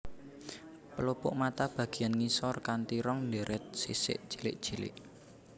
Pelupuk mata bagiyan ngisor kanti rong deret sisik cilik cilik